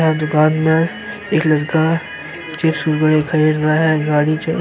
यह दुकान में एक लड़का नीचे खरीद रहा है। गाड़ी से --